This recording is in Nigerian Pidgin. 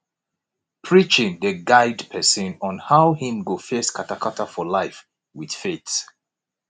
preaching dey guide pesin on how im go face katakata for life with faith